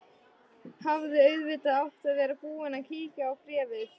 Hefði auðvitað átt að vera búin að kíkja á bréfið.